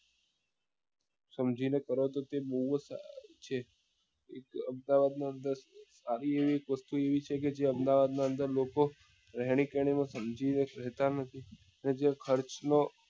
સમજી ને કરો તો બઉ જ સારો છે અમદાવાદ ની અંદર આવી એવી વસ્તુ એવી છે કે અમદાવાદ ની અંદર લોકો રહેણી કહેણી ને સમજી ને સરકાર નો જે ખર્ચ નો